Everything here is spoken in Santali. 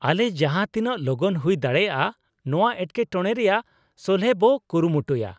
ᱟᱞᱮ ᱡᱟᱦᱟᱸ ᱛᱤᱱᱟᱹᱜ ᱞᱚᱜᱚᱱ ᱦᱩᱭ ᱫᱟᱲᱮᱭᱟᱜᱼᱟ ᱱᱚᱶᱟ ᱮᱴᱠᱮᱴᱚᱬᱮ ᱨᱮᱭᱟᱜ ᱥᱚᱞᱦᱮ ᱵᱚ ᱠᱩᱨᱩᱢᱩᱴᱩᱭᱟ ᱾